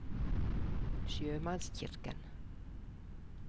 sjømannskirken